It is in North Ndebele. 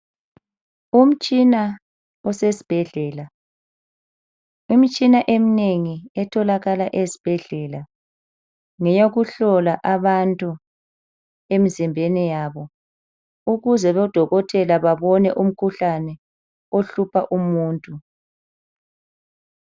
Umtshina usesibhedlela. Imitshina eminengi etholakala ezibhedlela ngeyokuhlola abantu emizimbeni yabo ukuze odokotela babone umkhuhlane ohlupha umuntu.